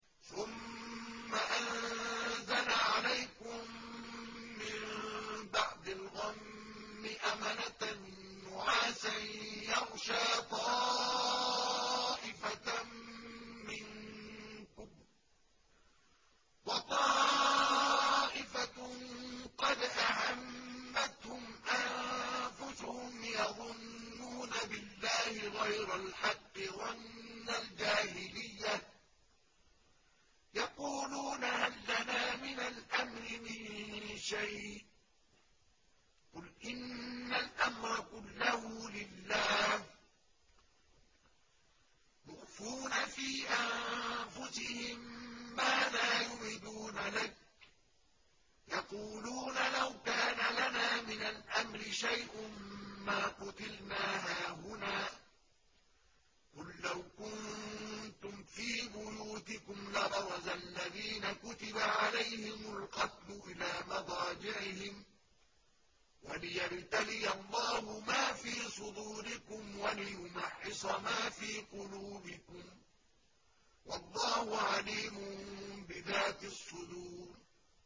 ثُمَّ أَنزَلَ عَلَيْكُم مِّن بَعْدِ الْغَمِّ أَمَنَةً نُّعَاسًا يَغْشَىٰ طَائِفَةً مِّنكُمْ ۖ وَطَائِفَةٌ قَدْ أَهَمَّتْهُمْ أَنفُسُهُمْ يَظُنُّونَ بِاللَّهِ غَيْرَ الْحَقِّ ظَنَّ الْجَاهِلِيَّةِ ۖ يَقُولُونَ هَل لَّنَا مِنَ الْأَمْرِ مِن شَيْءٍ ۗ قُلْ إِنَّ الْأَمْرَ كُلَّهُ لِلَّهِ ۗ يُخْفُونَ فِي أَنفُسِهِم مَّا لَا يُبْدُونَ لَكَ ۖ يَقُولُونَ لَوْ كَانَ لَنَا مِنَ الْأَمْرِ شَيْءٌ مَّا قُتِلْنَا هَاهُنَا ۗ قُل لَّوْ كُنتُمْ فِي بُيُوتِكُمْ لَبَرَزَ الَّذِينَ كُتِبَ عَلَيْهِمُ الْقَتْلُ إِلَىٰ مَضَاجِعِهِمْ ۖ وَلِيَبْتَلِيَ اللَّهُ مَا فِي صُدُورِكُمْ وَلِيُمَحِّصَ مَا فِي قُلُوبِكُمْ ۗ وَاللَّهُ عَلِيمٌ بِذَاتِ الصُّدُورِ